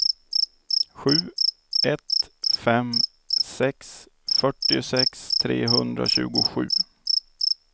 sju ett fem sex fyrtiosex trehundratjugosju